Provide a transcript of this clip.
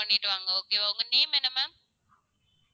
பண்ணிட்டு வாங்க okay வா உங்க name என்ன ma'am